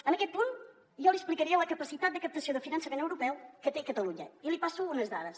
en aquest punt jo li explicaria la capacitat de captació de finançament europeu que té catalunya i li passo unes dades